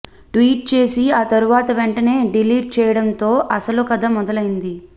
tweet చేసి ఆ తరువాత వెంటనే డిలీట్ చేయడంతో అసలు కథ మొదలైంది